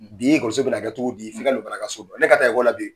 Bi bɛ na kɛ cogo di ? F'i ka don baraka so kɔnɔ . Ne ka taa la bi